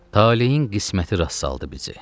Talehin qisməti rast saldı bizi.